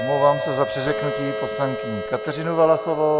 Omlouvám se za přeřeknutí - poslankyni Kateřinu Valachovou.